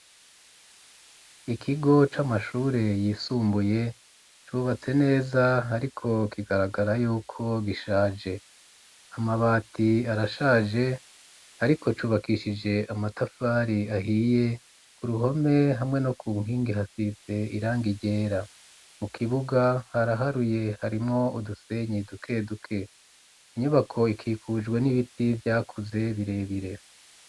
Ikigo c'amashure yisumbuye cubatse neza ariko kigaragara yuko gishaje amabati arashaje ariko cubakishije amatafari ahiye ku ruhome hamwe no ku nkingi hasize irang ryera mu kibuga haraharuye harimwo udusenyi duke duke inyubako ikikujwe n'ibiti vyakuze birebire.